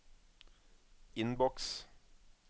innboks